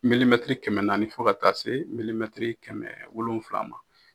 kɛmɛ naani fo ka taa se kɛmɛ wolofila ma.